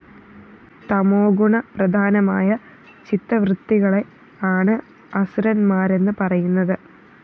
തമോഗുണപ്രധാനമായ ചിത്തവൃത്തികളെ ആണ് അസുരന്മാരെന്നു പറയുന്നത്